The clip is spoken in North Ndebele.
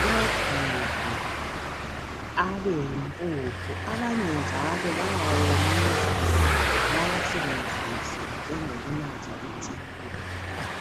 bewagige abeyimpuphu abanye njalo bayawawomisa bawasebenzise njengokunatha itiye